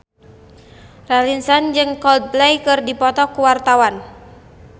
Raline Shah jeung Coldplay keur dipoto ku wartawan